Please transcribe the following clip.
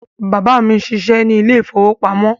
Bàbá mí n ṣiṣẹ ní ile-ìfowópamó